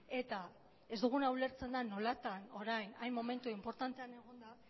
eta ez duguna ulertzen da nolatan orain hain momentu inportantean egonda